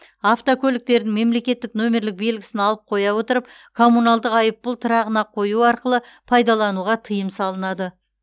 автокөліктердің мемлекеттік нөмерлік белгісін алып қоя отырып коммуналдық айыппұл тұрағына қою арқылы пайдалануға тыйым салынады